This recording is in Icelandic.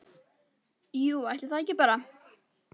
Jú, ætli það ekki bara!